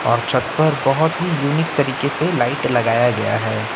और छत पर बहुत ही यूनिक तरीके से लाइट लगाया गया है।